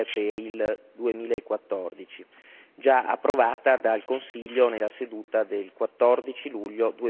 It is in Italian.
2 per il 2014, già approvata dal Consiglio nella seduta del 14 luglio